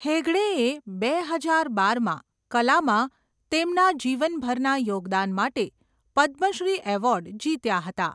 હેગડેએ બે હજાર બારમાં કલામાં તેમના જીવનભરના યોગદાન માટે પદ્મશ્રી એવોર્ડ જીત્યા હતા.